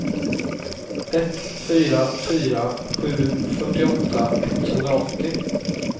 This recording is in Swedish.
ett fyra fyra sju fyrtioåtta etthundraåttio